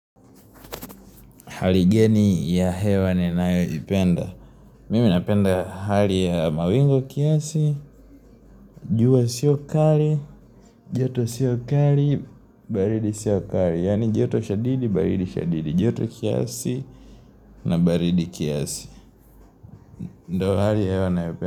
Hali geni ya hewa ninayoipenda Mimi napenda hali ya mawingu kiasi jua sio kali joto sio kali baridi sio kali Yani joto shadidi, baridi shadidi joto kiasi na baridi kiasi ndo hali ya hewa nayopenda.